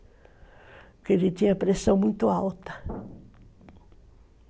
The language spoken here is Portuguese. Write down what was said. Porque ele tinha pressão muito alta.